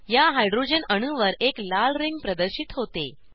या हायड्रोजन अणूवर एक लाल रिंग प्रदर्शित होते